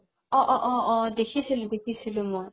অ অ অ অ দেখিছিলো দেখিছিলো মই